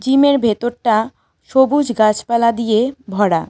জিমের ভেতরটা সবুজ গাছপালা দিয়ে ভরা।